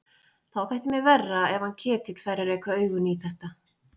Þá þætti mér verra ef hann Ketill færi að reka augun í þetta.